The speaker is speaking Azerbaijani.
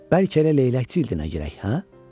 Bəlkə elə leylək cildinə girək, hə?